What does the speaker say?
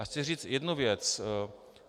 A chci říct jednu věc.